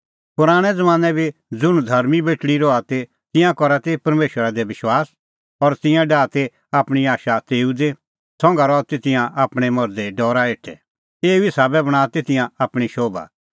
पराणैं ज़मानैं बी ज़ुंण धर्मीं बेटल़ी रहा ती तिंयां करा ती परमेशरा दी विश्वास और तिंयां डाहा ती आपणीं आशा तेऊ दी संघा रहा ती तिंयां आपणैं मर्धे डरा हेठै एऊ ई साबै बणांआ ती तिंयां आपणीं शोभा